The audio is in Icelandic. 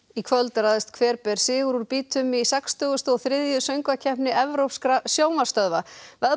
í kvöld ræðst hver ber sigur úr býtum í sextíu og þrjú söngvakeppni Evrópskra sjónvarpsstöðva